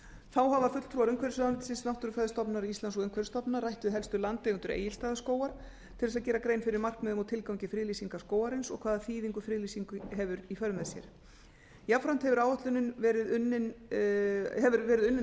þá hafa fulltrúar umhverfisráðuneytisins náttúrufræðistofnunar íslands og umhverfisstofnunar rætt við helstu landeigendur egilsstaðaskógar til þess gera grein fyrir markmiðum og tilgangi friðlýsingar skógarins og hvaða þýðingu friðlýsing hefur í för með sér jafnframt hefur verið unnin áætlun um það hvernig